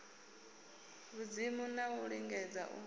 vhudzimu na u lingedza u